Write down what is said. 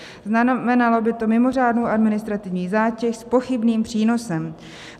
Znamenalo by to mimořádnou administrativní zátěž s pochybným přínosem.